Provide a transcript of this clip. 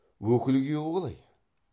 өкіл күйеуі қалай